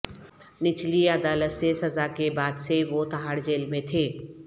نچلی عدالت سے سزا کے بعد سے وہ تہاڑ جیل میں تھے